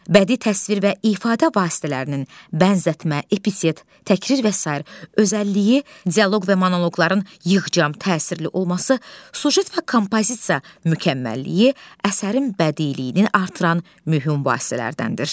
Bədii təsvir və ifadə vasitələrinin bənzətmə, epitet, təkrir və sair özəlliyi, dialoq və monoqoqların yığcam, təsirli olması, süjet və kompozisiya mükəmməlliyi əsərin bədiiliyini artıran mühüm vasitələrdəndir.